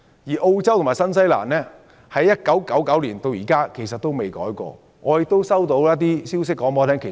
而澳洲和新西蘭的上限標準自1999年至今也沒有修訂過。